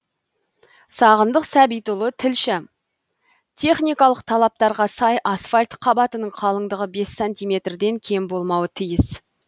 сағындық сәбитұлы тілші техникалық талаптарға сай асфальт қабатының қалыңдығы бес сантиметрден кем болмауы тиіс